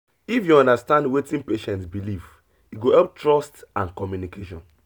if you understand wetin patient believe e go help trust and communication.